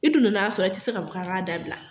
I dun nana a sɔrɔ yan, i tɛ se ka fɔ kan k'a dabila.